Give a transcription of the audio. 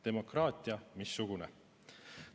Demokraatia missugune.